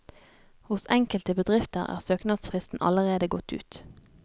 Hos enkelte bedrifter er søknadsfristen allerede gått ut.